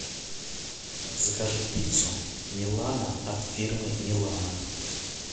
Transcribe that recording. закажи пиццу милано от фирмы милано